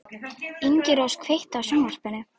Ingirós, kveiktu á sjónvarpinu.